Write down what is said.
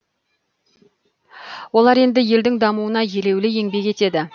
олар енді елдің дамуына елеулі еңбек етеді